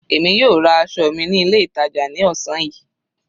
Èmi yóò ra aṣọ ọmọ ní ilé ìtàjà ní ọ̀sán yìí.